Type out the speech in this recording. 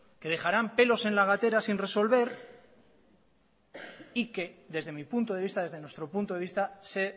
que dejarán pelos en la gatera sin resolver y que desde mi punto de vista desde nuestro punto de vista se